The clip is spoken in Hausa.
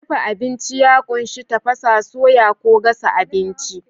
Dafa abinci ya ƙunshi tafasa, soya ko gasa abinci.